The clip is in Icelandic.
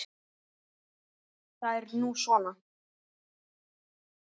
Það er nú svo.